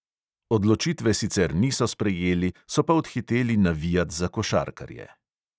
Odločitve sicer niso sprejeli, so pa odhiteli navijat za košarkarje.